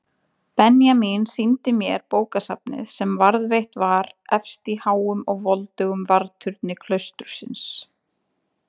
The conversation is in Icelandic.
Benjamín sýndi mér bókasafnið sem varðveitt var efst í háum og voldugum varðturni klaustursins.